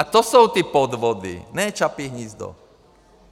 A to jsou ty podvody, ne Čapí hnízdo.